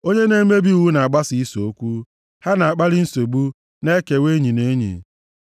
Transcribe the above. Onye na-emebi iwu na-agbasa ise okwu; ha na-akpali nsogbu, na-ekewa enyi na enyi.